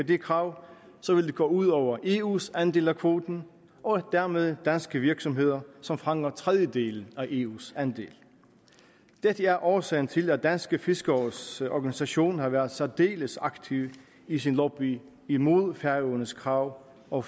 det krav vil det gå ud over eus andel af kvoten og dermed danske virksomheder som fanger en tredjedel af eus andel dette er årsagen til at de danske fiskeres organisation har været særdeles aktiv i sin lobby imod færøernes krav og